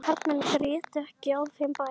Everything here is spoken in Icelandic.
Karlmenn grétu ekki á þeim bæ.